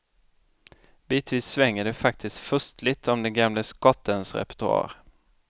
Bitvis svänger det faktiskt furstligt om den gamle skottens repertoar.